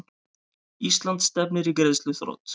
Ísland stefnir í greiðsluþrot